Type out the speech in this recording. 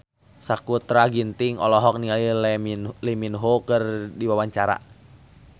Sakutra Ginting olohok ningali Lee Min Ho keur diwawancara